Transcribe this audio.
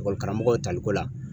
Ekɔli karamɔgɔw taliko la